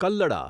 કલ્લડા